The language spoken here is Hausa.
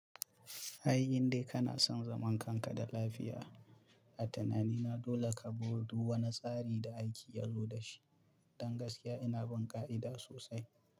Ai indai kana son zaman kanka da lafiya a tanani na dole ka buɗu wani tsari da aiki yazo da shi. Don gaskiya ina bin ƙa'ida sosai.